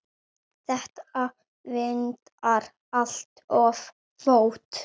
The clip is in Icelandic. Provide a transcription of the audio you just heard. Þetta vantar allt of oft.